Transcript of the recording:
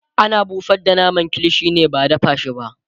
ana busar da naman kilishi ne ba dada shi ba